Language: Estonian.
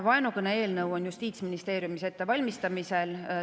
Vaenukõne-eelnõu on Justiitsministeeriumis ettevalmistamisel.